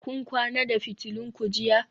Kun kwana da fitulun ku jiya?